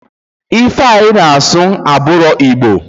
Ife a ina asu oburo Igbo